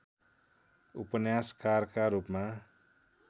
उपन्यासकारका रूपमा